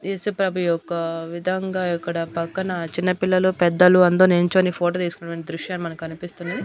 ఏసుప్రభు యొక్క విధంగా ఇక్కడ పక్కన చిన్న పిల్లలు పెద్దలు అందరూ నించొని ఫోటో తీసుకున్నటువంటి దృశ్యాలు మనకు కనిపిస్తున్నాయి.